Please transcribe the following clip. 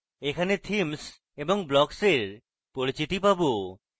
এখানে themes এবং blocks এর পরিচিতি পাবো